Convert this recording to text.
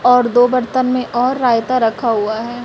और दो बर्तन में और रायता रखा हुआ है।